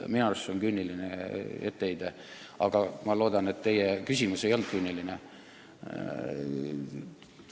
Minu arust see on küüniline etteheide, aga ma loodan, et teie küsimus ei olnud küüniline.